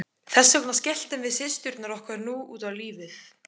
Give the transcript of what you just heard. Þess vegna skelltum við systurnar okkur nú út á lífið.